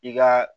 I ka